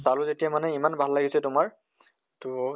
পালো যেতিয়া মানে ইমান ভাল লাগিছে তোমাৰ তʼ